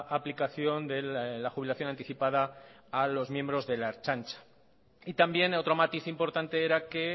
aplicación de la jubilación anticipada a los miembros de la ertzaintza y también otro matiz importante era que